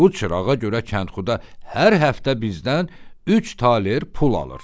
Bu çırağa görə kəndxuda hər həftə bizdən üç taler pul alır.